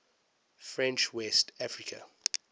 french west africa